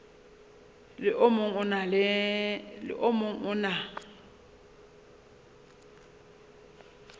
le o mong o na